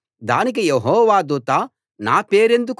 దానికి యెహోవా దూత నా పేరెందుకు అడుగుతున్నావు అది ఆశ్చర్యకరం అన్నాడు